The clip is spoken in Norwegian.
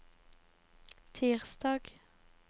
tirsdag